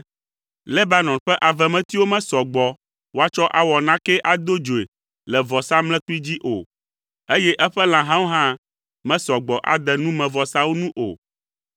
Lebanon ƒe avemetiwo mesɔ gbɔ woatsɔ awɔ nakee ado dzoe le vɔsamlekpui dzi o, eye eƒe lãhawo hã mesɔ gbɔ ade numevɔsawo nu o.